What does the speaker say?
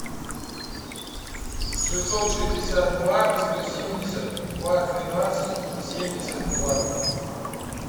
шестьсот шестьдесят два сто семьдесят два двенадцать семьдесят два